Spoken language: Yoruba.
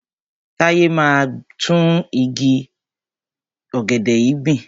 Táyé máa gbin tún igi ọ̀gẹ̀dẹ̀ yìí gbìn.